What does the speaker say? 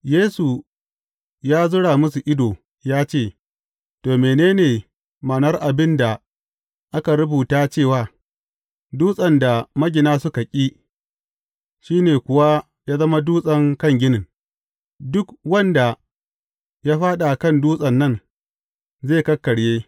Yesu ya zura musu ido ya ce, To, mene ne ma’anar abin da aka rubuta cewa, Dutsen da magina suka ƙi, shi ne kuwa ya zama dutsen kan ginin’, Duk wanda ya fāɗi a kan dutsen nan, zai kakkarye.